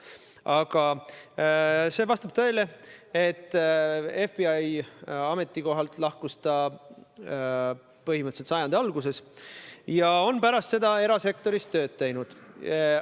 Aga vastab tõele, et FBI ametikohalt lahkus ta põhimõtteliselt sajandi alguses ja pärast seda on ta tööd teinud erasektoris.